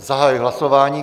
Zahajuji hlasování.